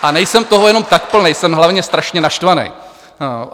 A nejsem toho jenom tak plnej, jsem hlavně strašně naštvanej.